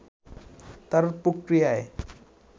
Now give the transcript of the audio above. তার প্রতিক্রিয়ায়